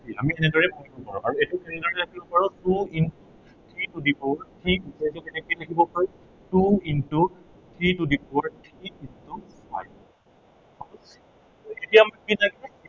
আমি এনেদৰেও ভাঙিব পাৰো। আৰু এইটো কেনেদৰে ভাঙিব পাৰো, two into three to the power three এইটো কেনেকে লিখিব পাৰো two into three to the power three into হল এতিয়া আমাক কি লাগে